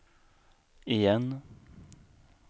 igen